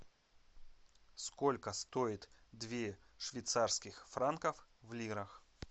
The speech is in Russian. сколько стоит две швейцарских франков в лирах